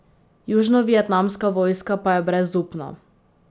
Južnovietnamska vojska pa je brezupna.